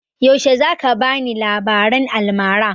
Yaushe za ka bani labaran almara?